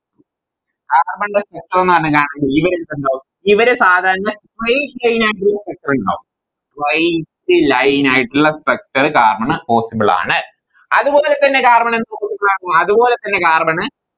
Carbon ൻറെ Structure ന്ന് പറഞ്ഞ ഇവര് സാധാരണ straight line ആയിട്ടുള്ള structure ഇണ്ടാവും straight line ആയിട്ടുള്ള structure carbon possible ആണ് അതുപോലെതന്നെ Carbon എന്ത് കൊടുക്കാം അതുപോലെതന്നെ Carbon